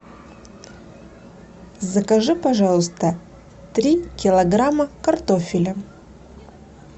закажи пожалуйста три килограмма картофеля